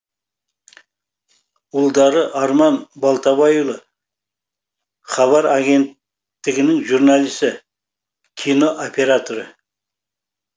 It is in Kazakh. ұлдары арман балтабайұлы хабар агенттігінің журналисі кино операторы